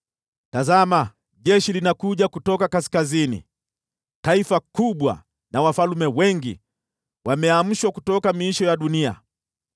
“Tazama! Jeshi linakuja kutoka kaskazini; taifa kubwa na wafalme wengi wanaamshwa kutoka miisho ya dunia.